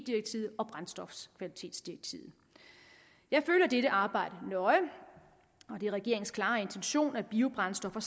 direktivet og brændstofkvalitetsdirektivet jeg følger dette arbejde nøje og det er regeringens klare intention at biobrændstoffer